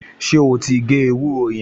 Ṣé ó ti gé ewúro yẹn?